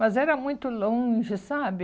Mas era muito longe, sabe?